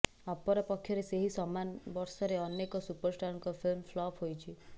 ଅପରପକ୍ଷରେ ସେହି ସମାନ ବର୍ଷରେ ଅନେକ ସୁପରଷ୍ଟାରଙ୍କ ଫିଲ୍ମ ଫ୍ଲପ୍ ହୋଇଛି